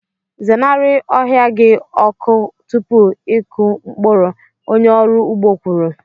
Zenarị ohia gị ọkụ tupu ịkụ mkpụrụ, onye ọrụ ugbo kwuru.